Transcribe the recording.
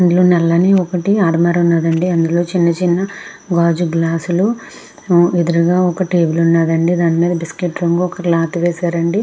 ఇక్కడ నలని రాగులో ఉనే ఉనే అంది. గాజు గల్స్స్ ఉనే అదుర్గా వక టేబుల్ ఉనది ఉనది అంది .దాని మిద వక బఎస్కెత్ కోర్ చ్లొథ్ వేసారు అంది.